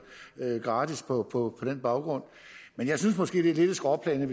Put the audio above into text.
gratis på på den baggrund men jeg synes måske det er lidt et skråplan